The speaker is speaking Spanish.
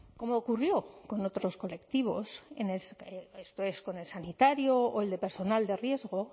como ocurrió con otros colectivos esto es con el sanitario o el de personal de riesgo